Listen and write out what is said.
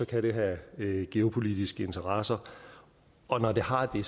kan det have geopolitiske interesser og når det har det